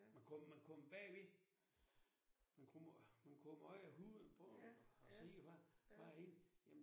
Men kommer man kommer bagved man kommer ind i huden på dem og ser hvad hvad inde